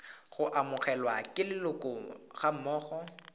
go amogelwa ke leloko gammogo